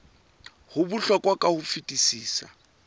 ho bohlokwa ka ho fetisisa